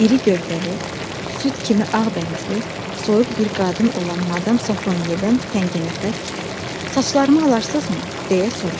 İri gövdəli, süd kimi ağbənizli, soyuq bir qadın olan Madam Safronyedən tənginəfəs, “Saçlarımı alarsızmı?” deyə soruşdu.